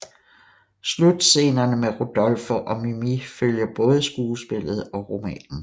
Slutscenerne med Rodolfo og Mimì følger både skuespillet og romanen